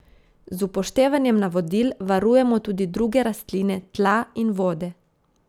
Z upoštevanjem navodil varujemo tudi druge rastline, tla in vode.